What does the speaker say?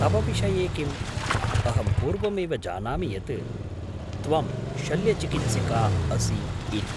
तव विषये किम्, अहं पूर्वमेव जानामि यत् त्वं शल्यचिकित्सिका असि इति।